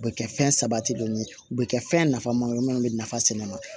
U bɛ kɛ fɛn sabatilen ye u bɛ kɛ fɛn nafa mago minnu bɛ nafa sɛnɛ